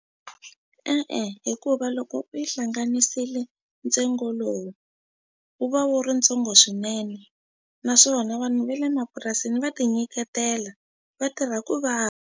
E-e, hikuva loko u yi hlanganisile ntsengo lowu wu va wu ri ntsongo swinene naswona vanhu va le mapurasini va tinyiketela vatirha ku .